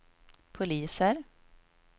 poliser